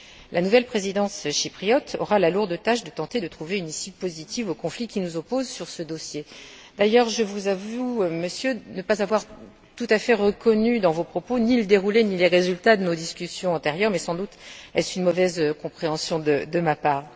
La nouvelle présidence chypriote aura la lourde tâche de tenter de trouver une issue positive au conflit qui nous oppose sur ce dossier. D'ailleurs, je vous avoue, Monsieur, ne pas avoir tout à fait reconnu dans vos propos ni le déroulé, ni les résultats de nos discussions antérieures, mais sans doute est ce une mauvaise compréhension de ma part.